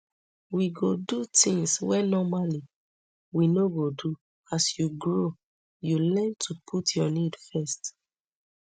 we go do tins wey normally we no go do as you grow you learn to put your need first